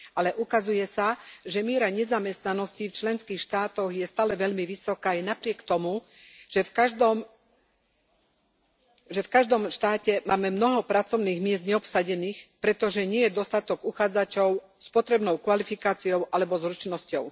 Ale ukazuje sa, že miera nezamestnanosti v členských štátoch je stále veľmi vysoká aj napriek tomu, že v každom štáte máme mnoho pracovných miest neobsadených, pretože nie je dostatok uchádzačov s potrebnou kvalifikáciou alebo zručnosťou.